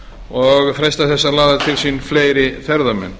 og freista þess að laða til sín fleiri ferðamenn